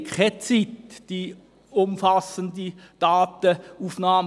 Wir haben keine Zeit für eine umfassende Datenaufnahme.